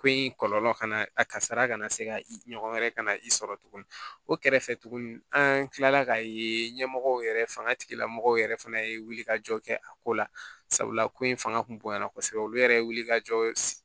Ko in kɔlɔlɔ kana a kasara kana se ka i ɲɔgɔn wɛrɛ ka na i sɔrɔ tuguni o kɛrɛfɛ tuguni an' kilala k'a yee ɲɛmɔgɔ yɛrɛ fanga tigilamɔgɔw yɛrɛ fana ye wulikajɔ kɛ a ko la sabula ko in fanga kun bonyana kosɛbɛ olu yɛrɛ ye wulikajɔ ye